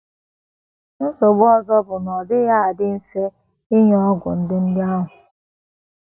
Nsogbu ọzọ bụ na ọ dịghị adị mfe inye ọgwụ ndị ndị ahụ.